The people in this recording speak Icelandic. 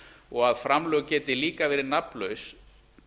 og að framlög geti líka verið nafnlaus